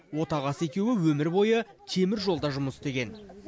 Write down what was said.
отағасы екеуі өмір бойы теміржолда жұмыс істеген